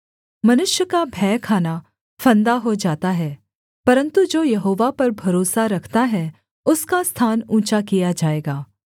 मनुष्य का भय खाना फंदा हो जाता है परन्तु जो यहोवा पर भरोसा रखता है उसका स्थान ऊँचा किया जाएगा